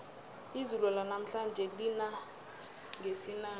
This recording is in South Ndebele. izulu lanamhlanje lina ngesinanja